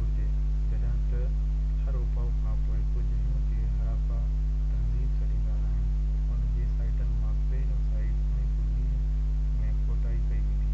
گهرجي جڏهن ته هراپا کان پوءِ ڪجهه هن کي هراپا تهذيب سڏيندا آهن ان جي سائيٽن مان پهريئن سائيٽ 1920 ۾ کوٽائي ڪئي ويندي